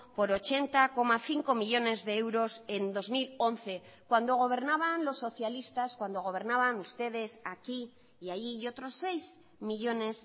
por ochenta coma cinco millónes de euros en dos mil once cuando gobernaban los socialistas cuando gobernaban ustedes aquí y allí y otros seis millónes